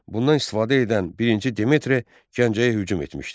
Bundan istifadə edən birinci Demetri Gəncəyə hücum etmişdi.